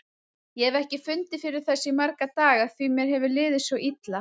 Ég hef ekki fundið fyrir þessu í marga daga því mér hefur liðið svo illa.